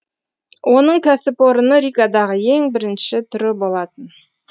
оның кәсіпорыны ригадағы ең бірінші түрі болатын